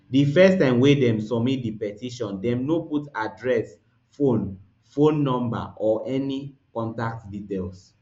di first time wey dem submit di petition dem no put address phone phone no or any contact details